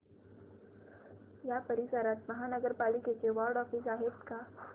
या परिसरात महानगर पालिकेचं वॉर्ड ऑफिस आहे का